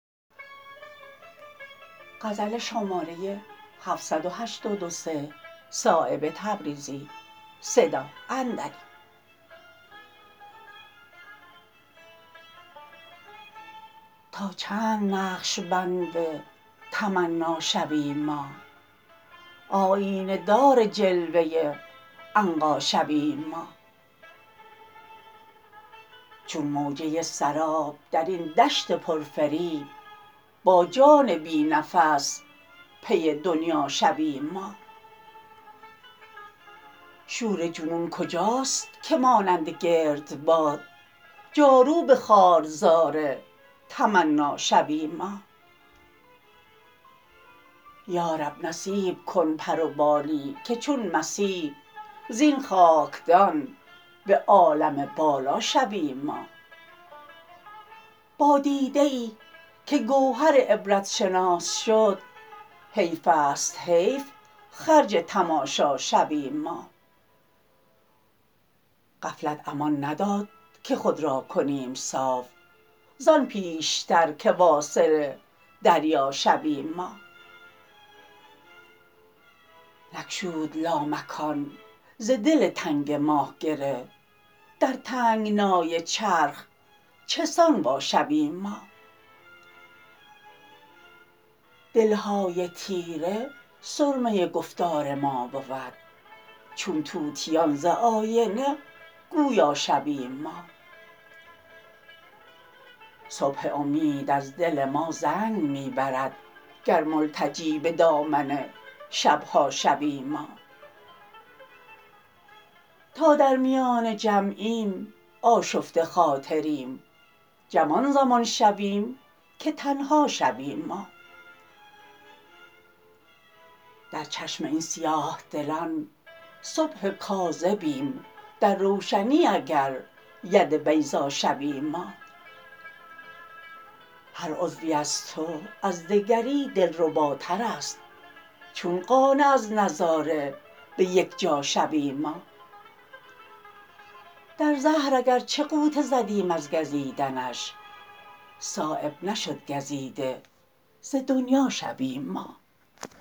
تا چند نقشبند تمنا شویم ما آیینه دار جلوه عنقا شویم ما چون موجه سراب درین دشت پر فریب با جان بی نفس پی دنیا شویم ما شور جنون کجاست که مانند گردباد جاروب خارزار تمنا شویم ما یارب نصیب کن پر و بالی که چون مسیح زین خاکدان به عالم بالا شویم ما با دیده ای که گوهر عبرت شناس شد حیف است حیف خرج تماشا شویم ما غفلت امان نداد که خود را کنیم صاف زان پیشتر که واصل دریا شویم ما نگشود لامکان ز دل تنگ ما گره در تنگنای چرخ چسان وا شویم ما دلهای تیره سرمه گفتار ما بود چون طوطیان ز آینه گویا شویم ما صبح امید از دل ما زنگ می برد گر ملتجی به دامن شبها شویم ما تا در میان جمعیم آشفته خاطریم جمع آن زمان شویم که تنها شویم ما در چشم این سیاه دلان صبح کاذبیم در روشنی اگر ید بیضا شویم ما هر عضوی از تو از دگری دلرباترست چون قانع از نظاره به یک جا شویم ما در زهر اگر چه غوطه زدیم از گزیدنش صایب نشد گزیده ز دنیا شویم ما